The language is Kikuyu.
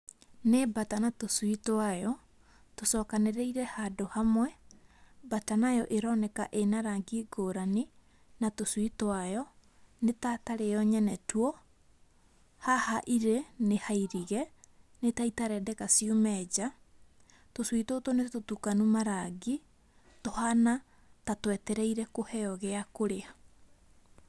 Nĩ mbata na tũcui twayo, tũcokanĩrĩire handũ hamwe, mbata nayo ĩroneka ĩnarangi ngũrani na tũcui twayo, nĩta tarĩyo mwene tuo ,haha irĩ nĩhairige nĩtaitarendeka ciume nja ,tũcui tũtũ nĩtũtukanu marangi tũhana na twetereirwe kũheo gĩa kũrĩa